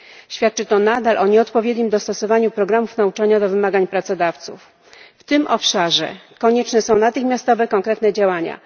Świadczy to nadal o nieodpowiednim dostosowaniu programów nauczania do wymagań pracodawców. W tym obszarze konieczne są natychmiastowe konkretne działania.